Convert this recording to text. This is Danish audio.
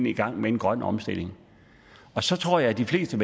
i gang med en grøn omstilling så tror jeg at de fleste